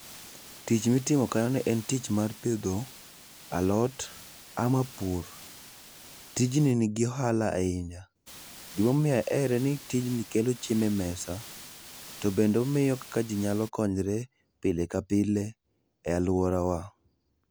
Tich mitimo kanyono en tich mar pidho alot ama pur. Tijni nigi oahala ahinya. Gima omiyo ahere ni tijni kelo chiemo e mesa tobende omiyo kaka jii nyalo konyre pile ka pile e aluorawa